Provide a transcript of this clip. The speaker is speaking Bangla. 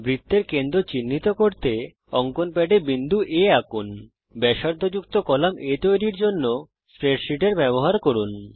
বৃত্তের কেন্দ্র চিহ্নিত করার জন্যে অঙ্কন প্যাডে বিন্দু A আঁকুন ব্যাসার্ধযুক্ত কলাম A তৈরি করার জন্যে স্প্রেডসীটের ব্যবহার করুন